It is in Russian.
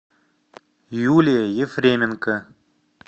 юлия ефременко